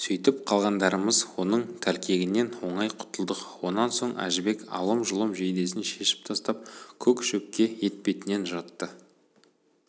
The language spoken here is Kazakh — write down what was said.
сөйтіп қалғандарымыз оның тәлкегінен оңай құтылдық онан соң әжібек алым-жұлым жейдесін шешіп тастап көк шөпке етбетінен жатты